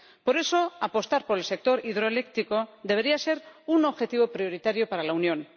Por eso, apostar por el sector hidroeléctrico debería ser un objetivo prioritario para la Unión.